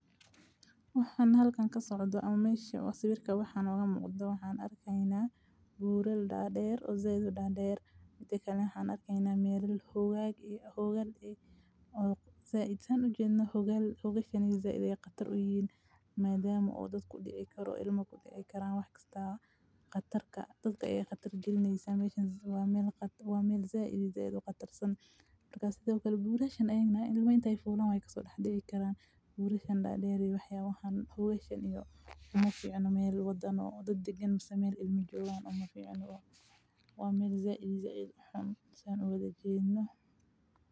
Waxan halkaan ka socodo Ama meyshe, sawirka waxaan uga muuqda, waxaan arkaynaa buurru dhaadheer oo zeed dhaadheer. Mite kale ha arkeynaa meel hoggaag iyo hoggal ay zeed. Saan u jirno hogga hogaashanigii zeedaya khatar u yiin maadaama oo dad ku dhici karo ilmo ku xiga karraan. Waxaa khataarka dadka ee khatar jirnaysa meesha waa meel khatar, waa meel zeed iyo zeedo khatar. Sida uu ka hadlay Buureshen aynana ilmaynta ay fulan way kasoo dhacdo inay karaan. Buureshen dhaadheernii waxyahoodan haweesheena iyo uma fiicno meel badan oo dad degen balse meel ilmi jiraan uma fiicno ah. Waa meel zeed iyo zeed xun saan uga jeedno.